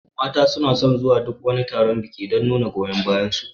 Mata suna son zuwa duk wani taron biki don nuna goyon bayar su